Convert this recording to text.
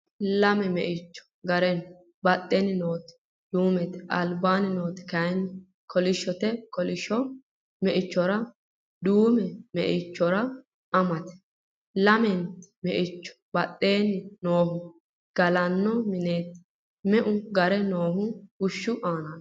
Lame meicho gare no.badheenni nooti duumete, albaanni nooti kayinni kolishshote. kolishsho meicho duume meichora amate. llamente meichora badheenni noohu gallanni mineeti. meu gare noohu bushshu aanaati.